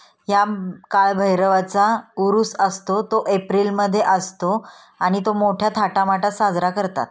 या काळभैरवाचा उरुस असतो तो एप्रिल मध्ये असतो आणि तो मोठ्या थाटा माटात साजरा करतात.